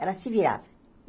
Ela se virava.